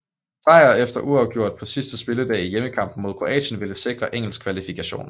Sejr eller uafgjort på sidste spilledag i hjemmekampen mod Kroatien ville sikre engelsk kvalifikation